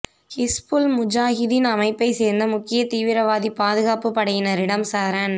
ஹிஸ்புல் முஜாஹிதீன் அமைப்பைச் சேர்ந்த முக்கியத் தீவிரவாதி பாதுகாப்பு படையினரிடம் சரண்